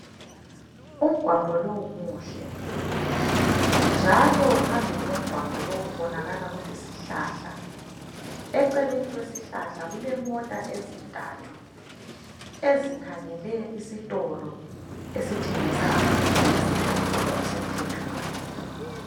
Umgwaqo lowu muhle njalo phambili komgwaqo lowu kubonakala kulesihlahla. Eceleni kwesihlahla kulemota ezintathu ezikhangele esitolo esithengisa amaphilisi ngokusemthethweni.